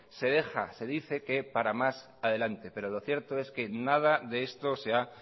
se deja se dice que para más adelante pero lo cierto es que nada de esto se ha